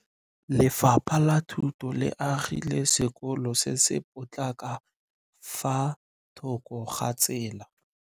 Lefapha la Thuto le agile sekôlô se se pôtlana fa thoko ga tsela.